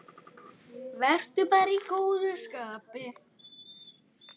Vertu bara í góðu skapi.